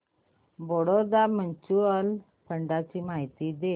Baroda mutual fund ची माहिती दे